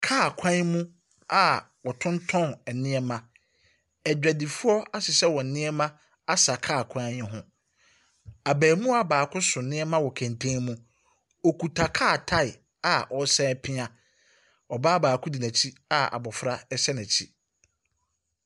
Car kwan mu a ɔtɔntɔn nneɛma. Adwadifoɔ ahyehyɛ wɔn nnoɔma asa car kwan yi ho. Abemoa baako so nnoɔma wɔ kɛntɛn mu. Ɔkuta car tyre a ɔresan ɛpea. Ɔbaa baako di nɛkyi a abofra ɛhyɛ nɛkyi.